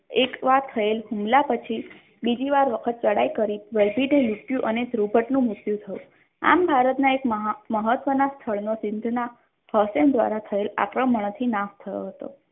એકવાર થયેલ હમલા પછી બીજી વાર વખત ચઢાઈ કરી વલભીને લૂંટ્યું અને દ્રુપતનું મૃત્યુ થયું આમ ભારતના એક મહાન મહત્વના સ્થળનો સિધ્ધનાથ હસેન દ્વારા થયેલા આક્રમણોથી થયો હતો.